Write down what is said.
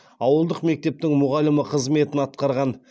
ауылдық мектептің мұғалімі қызметін атқарған